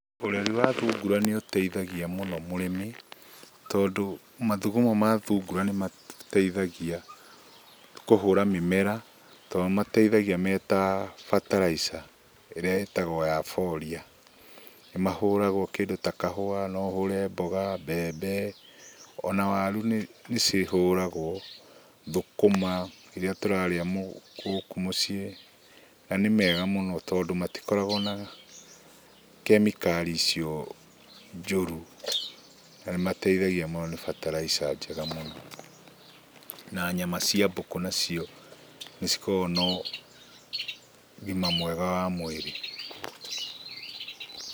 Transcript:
Ũreri wa thungura nĩ ũteithagia mũno mũrĩmi tondũ mathugumo ma thungura nĩ mateithagia kũhũra mĩmera tondũ nĩ mateithagia meta bataraitha ĩrĩa ĩtagwo ya Boria. Nĩmahũragwo kĩndũ ta kahũa, no ũhũre mboga, mbembe ona waru nĩcihũragwo, thũkũma irĩa tũrarĩa gũkũ mũciĩ, na nĩ mega mũno tondũ matikoragwo na kemikali ico njũru na nĩmateithagia mau nĩ bataraitha njega mũno. Na nyama cia mbũkũ nacio nĩ cikoragwo na ũgima mwega wa mwĩrĩ.